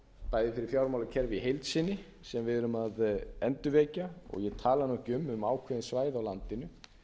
bæði fyrir fjármálakerfið í heild sinni sem við erum að endurvekja og ég tala nú ekki um ákveðin svæði á landinu